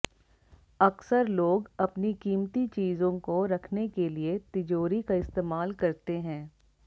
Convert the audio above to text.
अक्सर लोग अपनी कीमती चीजों को रखने के लिए तिजोरी का इस्तेमाल करते हैं